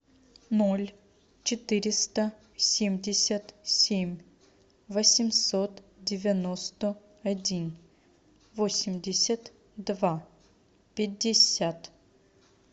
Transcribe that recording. ноль четыреста семьдесят семь восемьсот девяносто один восемьдесят два пятьдесят